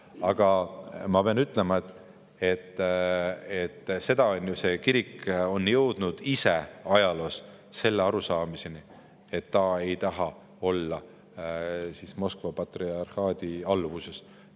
Aga ma pean ütlema, et see kirik on jõudnud ju ise ajaloos selle arusaamiseni, et ta ei taha olla Moskva patriarhaadi alluvuses.